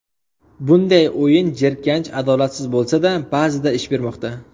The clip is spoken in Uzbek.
Bunday o‘yin jirkanch, adolatsiz bo‘lsa-da, ba’zida ish bermoqda.